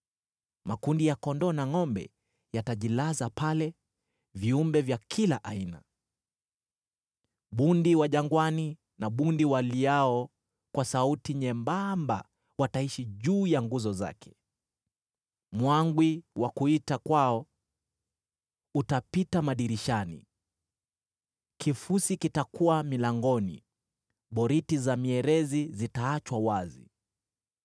Makundi ya kondoo na ngʼombe yatajilaza pale, viumbe vya kila aina. Bundi wa jangwani na bundi waliao kwa sauti nyembamba wataishi juu ya nguzo zake. Mwangwi wa kuita kwao utapita madirishani, kifusi kitakuwa milangoni, boriti za mierezi zitaachwa wazi.